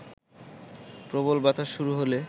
প্রবল বাতাস শুরু হলে